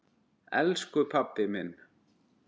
Elsku pabbi minn!